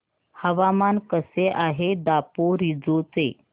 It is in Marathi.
हवामान कसे आहे दापोरिजो चे